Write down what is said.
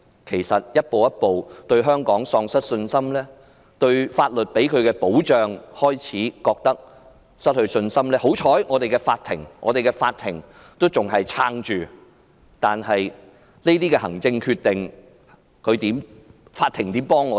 其實外商正逐步對香港喪失信心，對法律能給予他們的保障失去信心，幸好，香港的法庭依然屹立着，但是，面對這些行政決定，法庭又可如何幫助我們？